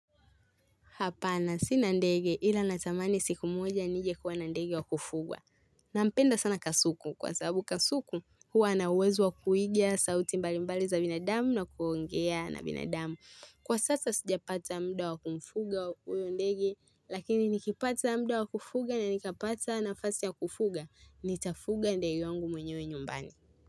Hapana sina ndege ila natamani siku moja nije kuwa na ndege wa kufugwa. Nampenda sana kasuku kwa sababu kasuku huwa ana uwezo wa kuiga sauti mbali mbali za binadamu na kuongea na binadamu. Kwa sasa sijapata muda wa kumfuga huyo ndege lakini nikipata muda wa kufuga na nikapata nafasi wa kufuga nitafuga ndege wangu mwenyewe nyumbani.